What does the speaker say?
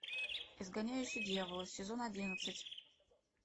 изгоняющий дьявола сезон одиннадцать